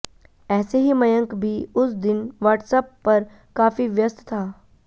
ऐसे ही मयंक भी उस दिन वाट्सएप पर काफी व्यस्त था